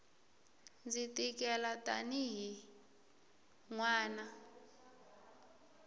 ndzi tikela tanihi n wana